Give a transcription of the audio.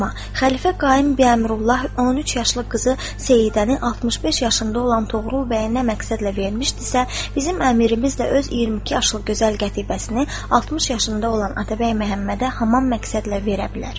Xəlifə Qaim Biəmrullah 13 yaşlı qızı Seyidəni 65 yaşında olan Toğrul bəyə nə məqsədlə vermişdisə, bizim əmirimiz də öz 22 yaşlı gözəl qətibəsini 60 yaşında olan Atabəy Məhəmmədə həmin məqsədlə verə bilər.